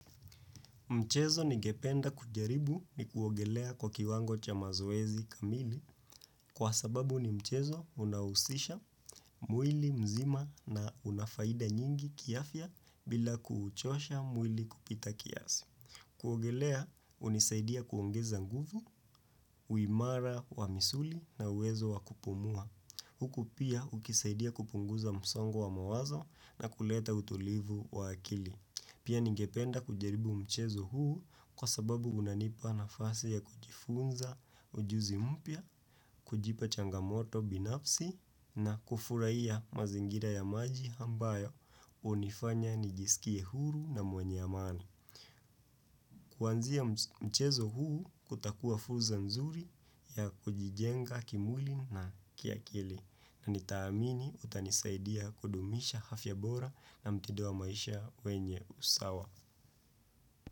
Mchezo ni gependa kujaribu ni kuogelea kwa kiwango cha mazoezi kamili kwa sababu ni mchezo unawusisha mwili mzima na unafaida nyingi kiafia bila kuuchosha mwili kupita kiasi. Kuogelea unisaidia kuongeza nguvu, uimara wa misuli na uwezo wa kupumua. Huku pia ukisaidia kupunguza msongo wa mawazo na kuleta utulivu wa akili. Pia ningependa kujaribu mchezo huu kwa sababu unanipa na fasi ya kujifunza ujuzi mpya, kujipa changamoto binafsi na kufurai ya mazingira ya maji ambayo unifanya nijisikie huru na mwenye amani. Kuanzia mchezo huu kutakua fulza nzuri ya kujijenga kimwli na kiakili na nitaamini utanisaidia kudumisha hafya bora na mtidua maisha wenye usawa.